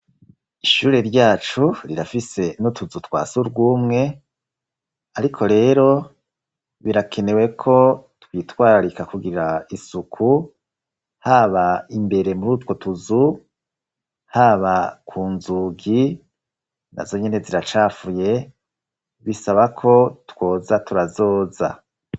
Ishure ryacu rirafise n'utuzu twa surwumwe, ariko rero birakenewe ko twitwararika kugira isuku, haba imbere muri utwo tuzu, haba ku nzugi, na zonyene ziracafuye, bisaba ko twoza turazoza.